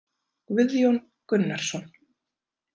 Guðjón Gunnarsson